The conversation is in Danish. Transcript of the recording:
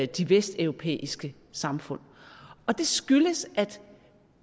de vesteuropæiske samfund det skyldes at